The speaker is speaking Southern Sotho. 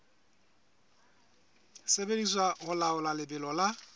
sebediswa ho laola lebelo la